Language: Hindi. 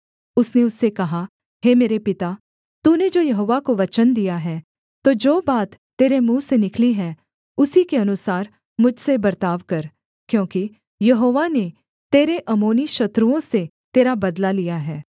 उसने उससे कहा हे मेरे पिता तूने जो यहोवा को वचन दिया है तो जो बात तेरे मुँह से निकली है उसी के अनुसार मुझसे बर्ताव कर क्योंकि यहोवा ने तेरे अम्मोनी शत्रुओं से तेरा बदला लिया है